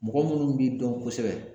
Mɔgɔ minnu b'i dɔn kosɛbɛ